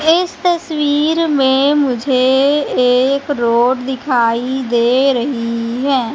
इस तस्वीर में मुझे एक रोड दिखाई दे रही हैं।